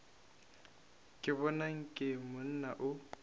ke bona nke monna o